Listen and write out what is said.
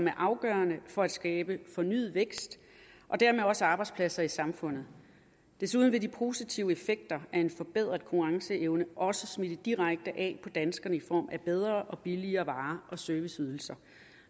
er afgørende for at skabe fornyet vækst og dermed også arbejdspladser i samfundet desuden vil de positive effekter af en forbedret konkurrenceevne også smitte direkte af på danskerne i form af bedre og billigere varer og serviceydelser